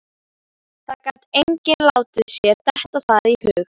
Það gat enginn látið sér detta það í hug.